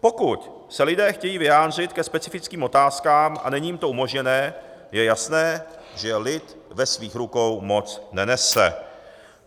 Pokud se lidé chtějí vyjádřit ke specifickým otázkám a není jim to umožněno, je jasné, že lid ve svých rukou moc nenese.